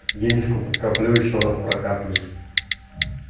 денежку подкоплю ещё раз прокапаюсь